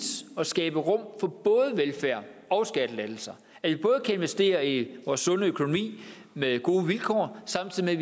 at skabe rum for både velfærd og skattelettelser at vi både kan investere i vores sunde økonomi med gode vilkår samtidig